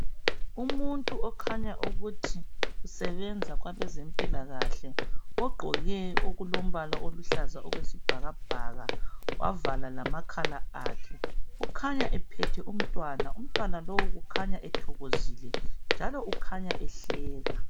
Umuntu okhanya ukuthi usebenza kwabezempilakahle. Ogqoke okulombala oluhlaza okwesibhakabhaka, wavala lamakhala akhe. Ukhanya ephethe umntwana. Umntwana lowu ukhanya ethokozile njalo kukhanya ehleka.